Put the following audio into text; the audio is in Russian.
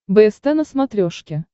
бст на смотрешке